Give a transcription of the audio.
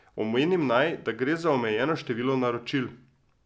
Omenim naj, da gre za omejeno število naročil.